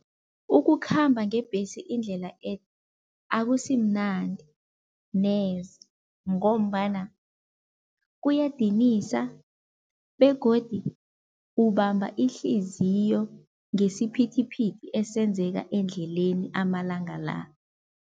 Ukukhamba ngebhesi indlela ede akusimnandi neze ngombana kuyadinisa begodu ubamba ihliziyo ngesiphithiphithi esenzeka endleleni amalanga la.